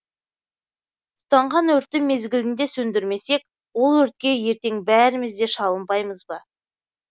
тұтанған өртті мезгілінде сөндірмесек ол өртке ертең бәріміз де шалынбаймыз ба